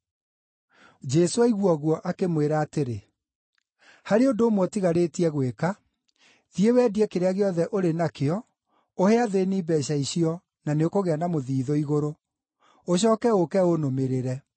Jesũ aigua ũguo, akĩmwĩra atĩrĩ, “Harĩ ũndũ ũmwe ũtigarĩtie gwĩka. Thiĩ wendie kĩrĩa gĩothe ũrĩ nakĩo ũhe athĩĩni mbeeca icio, na nĩũkũgĩa na mũthiithũ igũrũ. Ũcooke ũũke ũnũmĩrĩre.”